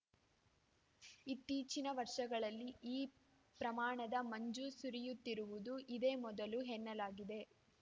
ಇತ್ತೀಚಿನ ವರ್ಷಗಳಲ್ಲಿ ಈ ಪ್ರಮಾಣದ ಮಂಜು ಸುರಿಯುತ್ತಿರುವುದು ಇದೇ ಮೊದಲು ಎನ್ನಲಾಗಿದೆ